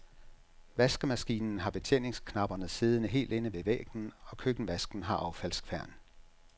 Vaskemaskinen har betjeningsknapperne siddende helt inde ved væggen og køkkenvasken har affaldskværn.